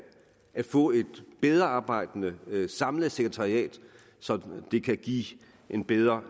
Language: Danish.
at få et bedre arbejdende samlet sekretariat så det kan give en bedre